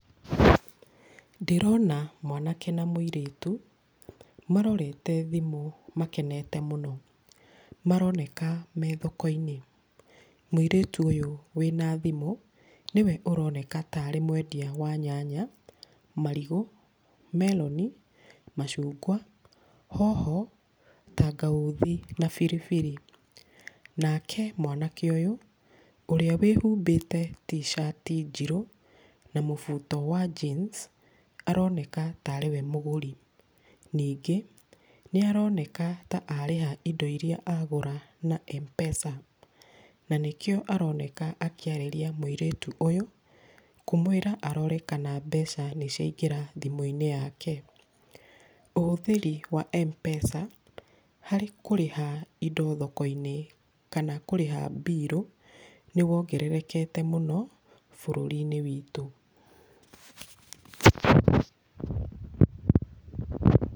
Ndĩrona mwanake na mũirĩtu, marorete thimũ makenete mũno. Maroneka me thoko-inĩ. Mũirĩtu ũyũ wĩna thimũ, nĩwe ũroneka tarĩ mwendia wa nyanya, marigũ, meroni, macungwa, hoho, tangauthi na biri biri. Nake mwanake ũyũ, ũrĩa wĩhumbĩte t-shirt i njirũ na mũbuto wa jeans, aroneka tarĩ we mũgũri. Ningĩ, nĩ aroneka ta arĩha indo iria agũra na mpesa, na nĩkĩo aroneka akĩarĩria mũirĩtu ũyũ, kũmwĩra arore kana mbeca nĩciaingĩra thimũ-inĩ yake. Ũhũthĩri wa M-pesa harĩ kũrĩha indo thoko-inĩ kana kũrĩha birũ, nĩ wongererekete mũno bũrũri-inĩ witũ.